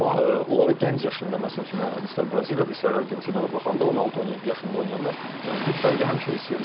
Amma onlara gənc yaşında məsəl üçün istər Braziliyada, istər Argentinada baxanda 16-17 yaşında oynayanda bir fərqi həmişə hiss edirsən.